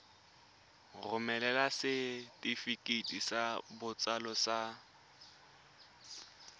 romela setefikeiti sa botsalo sa